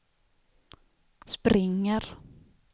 springer